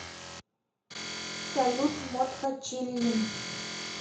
салют модхо чиллин